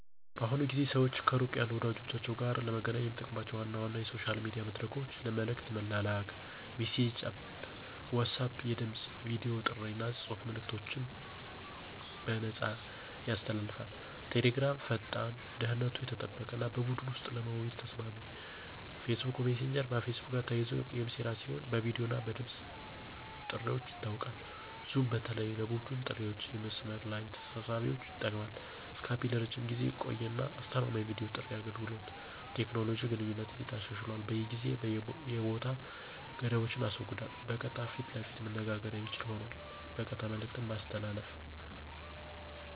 በአሁኑ ጊዜ ሰዋች ከሩቅ ያሉ ወዳጀቻችዉ ጋር ለመገናኘት የሚጠቀሙባቸው ዋና ዋና የሶሻል ሚዲያ መድረኮች ለመልእክት መላላክ (messaging Apps) WhatsApp የድምፅ፣ የቨዲ ጥሪ አና የጽሑፍ መልእከቶችን በነፃያሰ ያስተላልፋል። Telegram ፈጣን፣ ደህንነቱ የተጠበቀ አና በቡድን ወሰጥ ለመወያየት ተሰማሚ። Facebook messager ከፌስቡክ ጋር ተያይዘ የሚስራ ሲሆን በቪዲዮ እና ድምፅ ጥርዋች ይታወቃል። zoom በተለይ ለቡድን ጥሪዋችአና የመስመር ለይ ተሰብሳቢዎች ይጠቅማል። skype ለረጅም ጊዜ የቆየ አና አስተማማኝ የቪዲዮ ጥሪ አገልገሎት። ቴኮኖሎጂ ግንኙነትን እንዴት አሻሽሏል የጊዜ አና የቦታ ገደቦችን አስወግዷል በቀጥታ ፈት ለፈት መነጋገር የሚችል ሆኗል። በቀጥታ መልእክት ማስተላለፍ